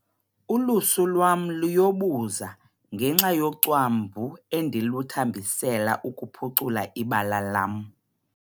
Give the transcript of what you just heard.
Ulusu lwam luyobuza ngenxa yocwambu endiluthambisela ukuphucula ibala lam.